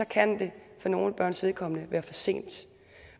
kan det for nogle børns vedkommende være for sent